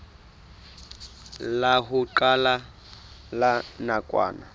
la ho qala la nakwana